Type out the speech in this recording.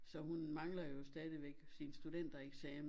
Så hun mangler jo stadigvæk sin studentereksamen